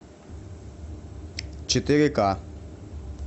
четыре ка